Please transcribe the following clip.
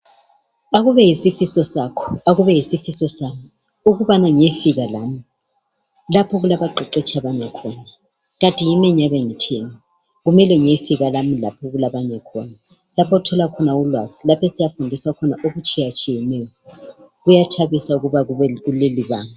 Akube yisifiso sakho, akube yisifiso sami ukubana ngiyefika lami laph' okulabaqeqetsh' abanye khona. Kanti yimi engiyabe ngitheni! Kumele ngiyefika lami laph' okulabanye khona. Laph' othola khona ulwazi, laph' esiyafundiswa khona okutshiyatshiyeneyo. Kuyathabisa ukuba kuleli banga.